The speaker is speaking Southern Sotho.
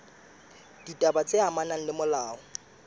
ditaba tse amanang le molao